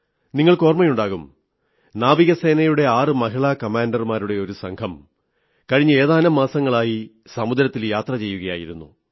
നിങ്ങൾക്ക് ഓർമ്മയുണ്ടാകും നാവികസേനയുടെ ആറ് മഹിളാ കാമാണ്ടർമാരുടെ ഒരു സംഘം കഴിഞ്ഞ ഏതാനും മാസങ്ങളായി സമുദ്രത്തിൽ യാത്ര ചെയ്യുകയായിരുന്നു